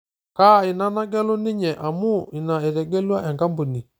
Kaa ina nagelu ninye, amu ina etegelea enkampuni?